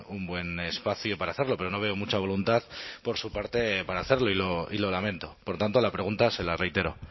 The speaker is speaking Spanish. un buen espacio para hacerlo pero no veo mucha voluntad por su parte para hacerlo y lo lamento por tanto la pregunta se la reitero